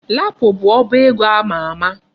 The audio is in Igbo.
Lapo bụ ọba ego ama ama.